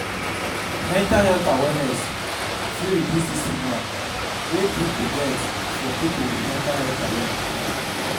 Mental health awareness fit reduce di stigma wey pipo get for pipo with mental health challenge